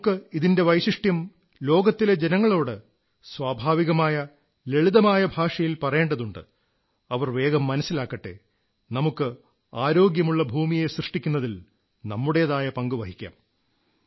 നമുക്ക് ഇതിന്റെ വൈശിഷ്ട്യം ലോകത്തിലെ ജനങ്ങളോട് സ്വഭാവികമായ ലളിതമായ ഭാഷയിൽ പറയേണ്ടതുണ്ട് അവർ വേഗം മനസ്സിലാക്കട്ടെ നമുക്ക് ആരോഗ്യമുള്ള ഭൂമിയെ സൃഷ്ടിക്കുന്നതിൽ നമ്മുടേതായ പങ്കു വഹിക്കാം